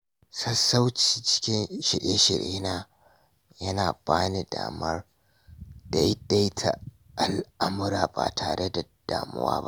Sassauci cikin shirye-shiryena yana ba ni damar daidaita al’amura ba tare da damuwa ba.